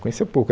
Conhecia pouco.